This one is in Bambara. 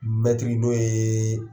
Mɛtiri n'o ye